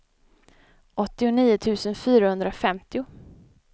åttionio tusen fyrahundrafemtio